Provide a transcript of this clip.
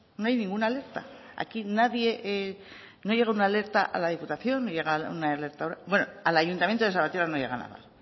no hay ninguna alerta aquí nadie no llega una alerta a la diputación no llega una alerta a ura bueno al ayuntamiento de salvatierra no llega nada